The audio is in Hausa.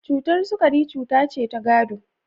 Cutar sukari cuta ce ta gado.